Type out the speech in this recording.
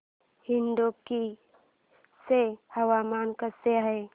इडुक्की चे हवामान कसे आहे